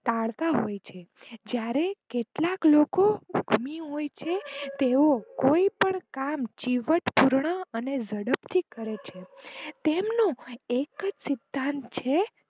ટાળતા હોય છે જયારે કેટલાક લોકો ધૂની હોય છે તેઓ કોઈ પણ કામ ચીવટપૂર્ણ અને ઝડપ થી કરે છે તેમનો એક જ સિદ્ધાંત છે.